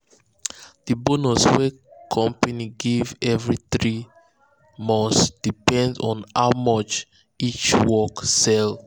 the bonus wey company give every 3 months depend on how much each worker sell.